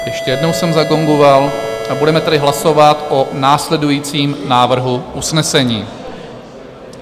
Ještě jednou jsem zagongoval a budeme tady hlasovat o následujícím návrhu usnesení.